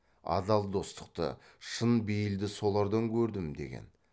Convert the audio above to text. адал достықты шын бейілді солардан көрдім деген